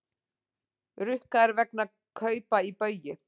Rukkaðir vegna kaupa í Baugi